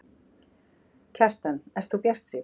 Kjartan: Ert þú bjartsýnn?